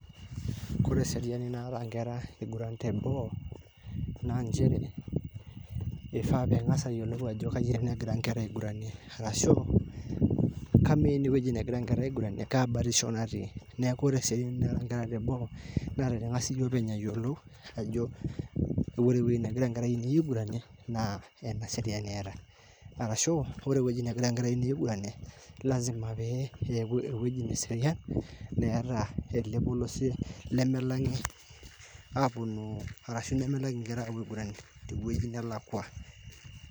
wore eseriani naataa nkera eiguran teboo naa njere eifaa ping'asa ayiolou ajo kakua kera egira aiguranie ashu kamaa ene negira nkera aiguranie kabatisho natii neeku wore eseriani naata nkera teboo naa tening'as iyiee openy' ayiolou ewueji nagira nkera ainei aiguranie nakaseriani etaa arashu wore ewueji negira nkera ainei aiguranie lasima pe eserian neemeta olposie lemelang'i aponu arashu nemelang' inkera aiguranie